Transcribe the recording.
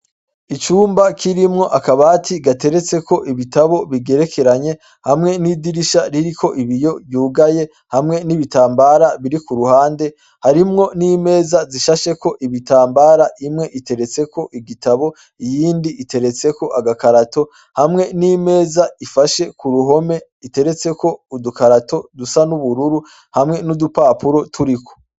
Icumba kirimwo akabati gateretse ko ibitabo bigerekeranye hamwe n'idirisha riri ko ibiyo yugaye hamwe n'ibitambara biri ku ruhande harimwo n'imeza zishashe ko ibitambara imwe iteretseko igitabo iyindi iteretseko agakarato hamwe n'imeza ifashe ku ruho ume iteretse ko udukarato dusa n'ubururu hamwe n'udupapuro turiko.